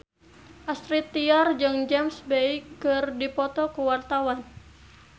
Astrid Tiar jeung James Bay keur dipoto ku wartawan